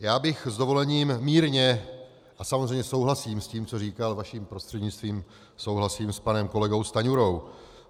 Já bych s dovolením mírně - a samozřejmě souhlasím s tím, co říkal, vaším prostřednictvím souhlasím s panem kolegou Stanjurou.